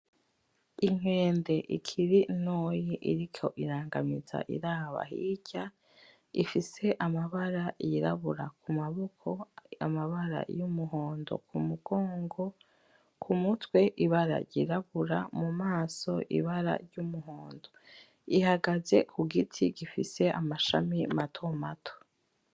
Inkende ikiri ntoya, iriko irangamiza iraba hirya, ifise amabara y'irabura kumaboko, amabara y'umuhondo kumugongo, ku mutwe ibara ry'irabura, mu maso ibara ry'umuhondo, ihagaze ku giti gifise amashami matomato.